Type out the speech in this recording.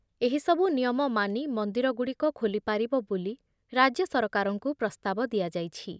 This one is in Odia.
ଏହିସବୁ ନିୟମ ମାନି ମନ୍ଦିର ଗୁଡ଼ିକ ଖୋଲିପାରିବ ବୋଲି ରାଜ୍ୟ ସରକାରଙ୍କୁ ପ୍ରସ୍ତାବ ଦିଆଯାଇଛି।